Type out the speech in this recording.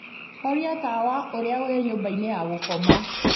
horia tawa uria ule nyumba ya gukoma